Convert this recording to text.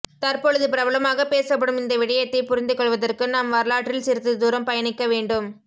தற்பொழுது பிரபலமாக பேசப்படும் இந்த விடயத்தை புரிந்து கொள்வதற்கு நாம் வரலாற்றில் சிறிது தூரம் பயணிக்கவேண்டும்